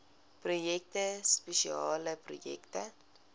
projekte spesiale projekte